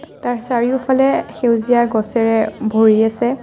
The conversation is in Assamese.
তাৰ চাৰিওফালে সেউজীয়া গছেৰে ভৰি আছে।